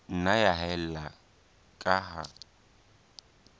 nna ya haella ka ha